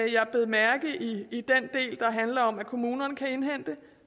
jeg bed mærke i den del der handler om at kommunerne kan indhente